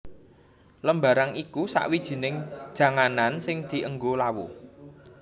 Lembarang iku sawijining janganan sing dienggo lawuh